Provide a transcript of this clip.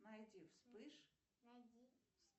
найти вспыш